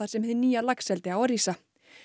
sem hið nýja laxeldi á að rísa